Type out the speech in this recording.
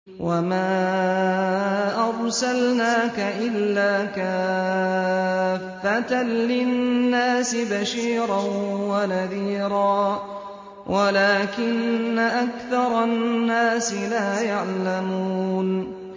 وَمَا أَرْسَلْنَاكَ إِلَّا كَافَّةً لِّلنَّاسِ بَشِيرًا وَنَذِيرًا وَلَٰكِنَّ أَكْثَرَ النَّاسِ لَا يَعْلَمُونَ